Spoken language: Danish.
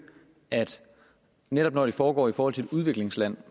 at netop når det foregår i forhold til et udviklingsland